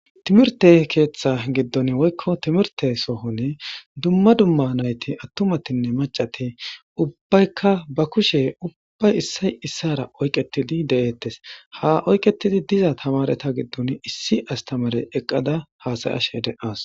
Timirte keeththa giddon woykko timirte sohon dumma dumma nayti attumatinne macati ubbaykka ba kushe ubbay issay issara oyqetidi de7eettes ha oyqetidi diza tamareta giddon issi astamare eqqada haasayashe de7as.